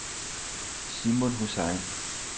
Simon Hussain